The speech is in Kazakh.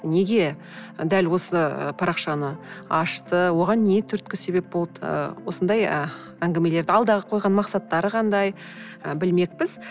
неге дәл осы парақшаны ашты оған не түрткі себеп болды ы осындай ы әңгімелерді алдағы қойған мақсаттары қандай і білмекпіз